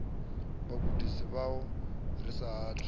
vhagudisi vhavho ri sa athu